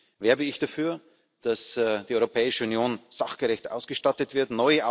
Deswegen werbe ich dafür, dass die Europäische Union sachgerecht ausgestattet wird.